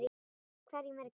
Hverjum er ekki sama.